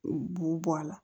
U b'u bɔ a la